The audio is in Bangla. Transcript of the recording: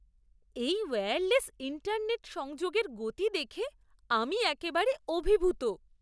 এই ওয়্যারলেস ইন্টারনেট সংযোগের গতি দেখে আমি একেবারে অভিভূত!